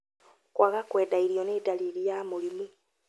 Kwaga kwenda irio ni ndariri ya mũrimu